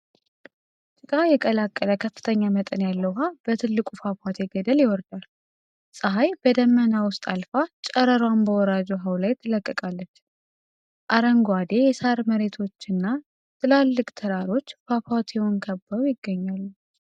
ጭቃ የቀላቀለ ከፍተኛ መጠን ያለው ውሃ በትልቁ ፏፏቴ ገደል ይወርዳል። ፀሐይ በደመና ውስጥ አልፋ ጨረሯን በወራጅ ውሃው ላይ ትለቅቃለች። አረንጓዴ የሳር መሬቶችና ትላልቅ ተራሮች ፏፏቴውን ከበው ይገኛሉ።